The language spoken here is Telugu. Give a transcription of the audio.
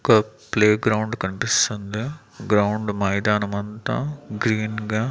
ఒక ప్లే గ్రౌండ్ కన్పిస్తుంది గ్రౌండ్ మైదామంతా గ్రీన్ గా --